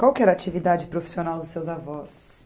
Qual que era a atividade profissional dos seus avós?